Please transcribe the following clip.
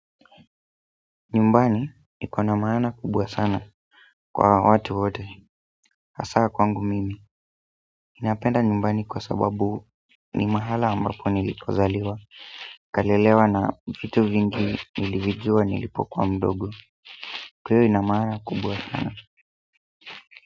Nyumbani iko na maana kubwa sana kwa watu wote hasaa kwangu mimi ninapenda nyumbani kwa sababu ni mahala ambapo nilipozaliwa kalelewa na vitu vingi nilivijua nilipo kuwa mdogo kwa hiyo ina maana kubwa sana.